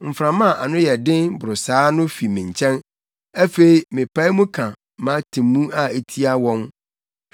mframa a ano yɛ den boro saa no fi me nkyɛn. Afei mepae mu ka mʼatemmu a etia wɔn.”